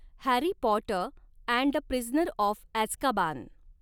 Harry Potter and the prisoner of Azkaban